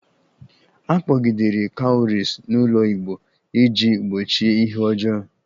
A kpọgidere Cowries n'ụlọ igbo iji gbochie ihe ọjọọ